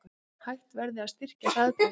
Hætt verði að styrkja Hraðbraut